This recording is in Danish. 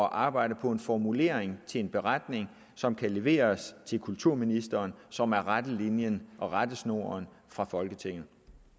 arbejde på en formulering til en beretning som kan leveres til kulturministeren og som er rettelinjen og rettesnoren fra folketinget